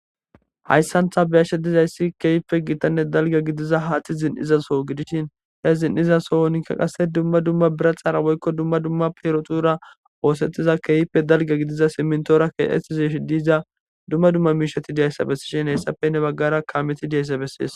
Hayssantha beyashshe dizayssi keeyipe giitanne dalge gidiza haati zin7izaso gidishin he zin7iza sohonikka qasse dumma dumma bira xaara woykko dumma dumma perotura oosettiza keeyippe dalge gidiza simintora ke7eizishi diiza dumma dumma miishati diyayssa bessi shin hayssafe ne baggara kaameti diyayssa bessis